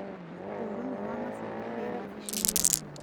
Ũrũmwe wa Mabũrũri wĩ wabici Nairobi.